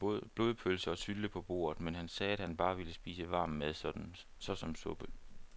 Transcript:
Der var både blodpølse og sylte på bordet, men han sagde, at han bare ville spise varm mad såsom suppe.